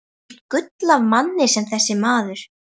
Hvílíkt gull af manni var þessi maður!